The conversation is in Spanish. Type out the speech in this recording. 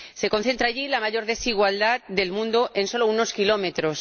Se concentra allí la mayor desigualdad del mundo en solo unos kilómetros.